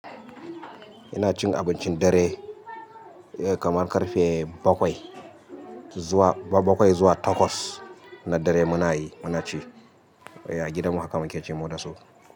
Ina cin abincin dare kamar karfe bakwai zuwa, bakwai zuwa takwas na dare munayi, munaci. A gidanmu haka muke cewa dasu.